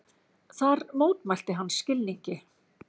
Þar mótmælti hann skilningi